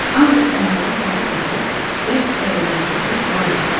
Ancaq onların acı dadı, bərk çəyirdəkləri var idi.